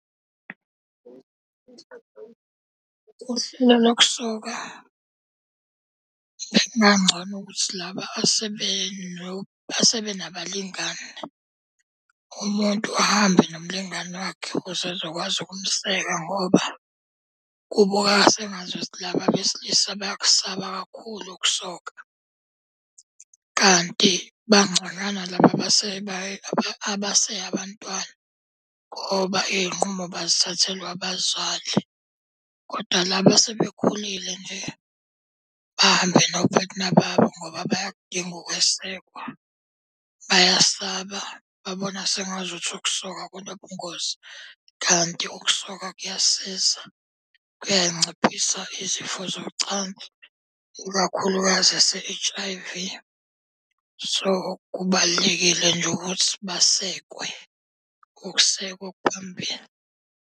Uhlelo lokusoka bekungangcono ukuthi laba asebenabalingani, umuntu ahambe nomlingani wakhe ukuze ezokwazi ukumeseka ngoba kubukeka sengazuthi laba abesilisa bayakusaba kakhulu ukusoka. Kanti bangconywana laba abase abantwana ngoba iy'nqumo bazithathelwa abazali. Kodwa laba asebekhulile nje, bahambe nophathina babo ngoba bayakudinga ukwesekwa, bayasaba babona sengazuthi ukusoka kunobungozi. Kanti ukusoka kuyasiza kuyayinciphisa izifo zocansi, ikakhulukazi ese-H_I_V. So, kubalulekile nje ukuthi basekwe, ukusekwa okuphambili.